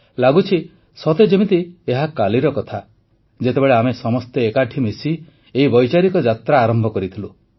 ଲାଗୁଛି ସତେ ଯେମିତି ଏହା କାଲିର କଥା ଯେତେବେଳେ ଆମେ ସମସ୍ତେ ଏକାଠି ମିଶି ଏହି ବୈଚାରିକ ଯାତ୍ରା ଆରମ୍ଭ କରିଥିଲୁ